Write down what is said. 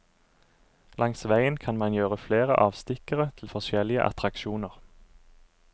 Langs veien kan man gjøre flere avstikkere til forskjellige attraksjoner.